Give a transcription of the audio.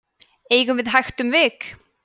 eigum við hægt um vik